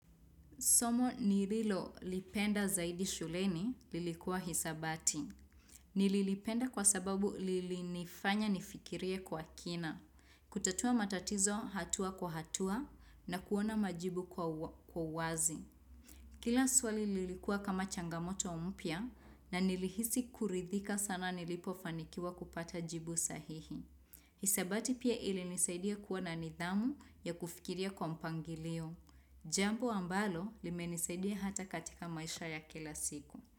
Somo nililo lipenda zaidi shuleni lilikuwa hesabati. Nililipenda kwa sababu lilifanya nifikirie kwa kina. Kutatua matatizo hatua kwa hatua na kuona majibu kwa uwazi. Kila swali lilikuwa kama changamoto umpia na nilihisi kuridhika sana nilipofanikiwa kupata jibu sahihi. Hisabati pia ili nisaidia kuwa nidhamu ya kufikiria kwa mpangilio. Jambu wa mbalo limenisaidia hata katika maisha ya kila siku.